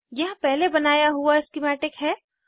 यहाँ पहले बनाया हुआ स्किमैटिक है